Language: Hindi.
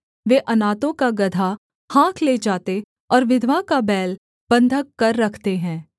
वे अनाथों का गदहा हाँक ले जाते और विधवा का बैल बन्धक कर रखते हैं